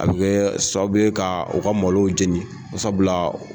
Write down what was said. A bɛ kɛ sababu bɛ ka u ka malow jeni sabula